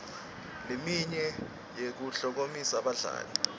leminye yekuklomelisa badlali